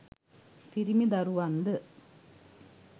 පිරිමි දරුවන්ද